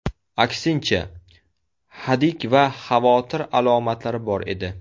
Aksincha, hadik va xavotir alomatlari bor edi.